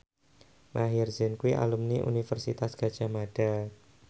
Maher Zein kuwi alumni Universitas Gadjah Mada